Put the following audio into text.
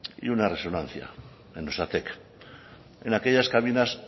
y una resonancia en osatek en aquellas cabinas